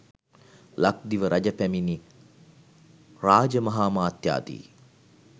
ලක්දිව රජ පැමිණි රාජමහාමාත්‍යාදී